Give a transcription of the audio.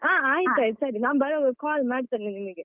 ಹ ಆಯ್ತಾಯ್ತು ಸರಿ ನಾನ್ ಬರುವಾಗ call ಮಾಡ್ತೇನೆ ನಿನ್ಗೆ.